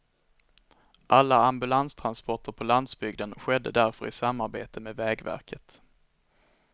Alla ambulanstransporter på landsbygden skedde därför i samarbete med vägverket.